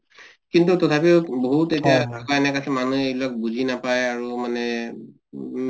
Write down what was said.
কিন্তু তথাপিও বহুত এতিয়া আছে মানুহে সেইবিলাক বুজি নাপায় আৰু মানে উম